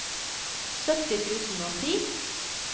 sytti tusen og ti